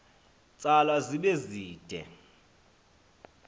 tsalwa zibe zide